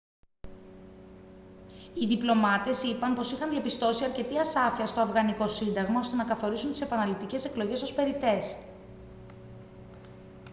οι διπλωμάτες είπαν πως είχαν διαπιστώσει αρκετή ασάφεια στο αφγανικό σύνταγμα ώστε να καθορίσουν τις επαναληπτικές εκλογές ως περιττές